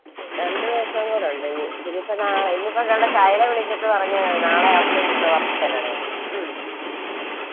രണ്ട്‌ ദവസം കൂടെ ഉണ്ടനി ഇതിപ്പൊ ഇന്നിപ്പൊകണ്ടേ ശൈല വിളിച്ചിട്ട് പറഞ്ഞയാണ് നാളെ അവിടുത്തെ ഉത്സവ